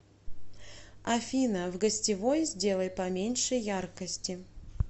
афина в гостевой сделай поменьше яркости